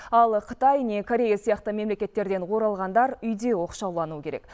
ал қытай не корея сияқты мемлекеттерден оралғандар үйде оқшаулануы керек